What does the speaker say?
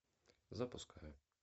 запускай